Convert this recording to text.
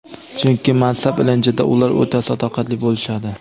Chunki mansab ilinjida ular o‘ta sadoqatli bo‘lishadi.